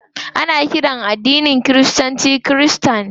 Ana ƙiran masu addinin kiristanci kirista.